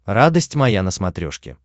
радость моя на смотрешке